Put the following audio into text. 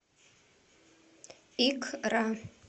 икра